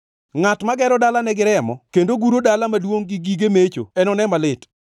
“Ngʼat magero dalane gi remo kendo guro dala maduongʼ gi gige mecho enone malit!